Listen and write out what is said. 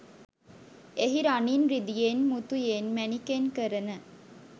එහි රනින් රිදියෙන් මුතුයෙන් මැණිකෙන් කරන